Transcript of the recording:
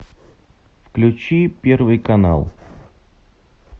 включи первый канал